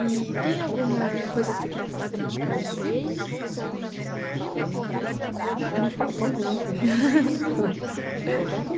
E tem alguma coisa que você queria falar que eu não te perguntei, alguma? Não. Assim. A gente fala tanto né. A gente fala tanto